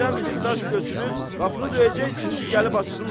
Yerdən bir daş götürüb qapını döyəcəksiz ki, gəlib açsınlar.